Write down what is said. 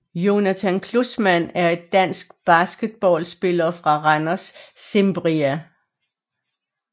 Jonathan Klussmann er en dansk basketballspiller for Randers Cimbria